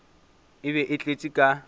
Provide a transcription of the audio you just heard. e be e tletše ka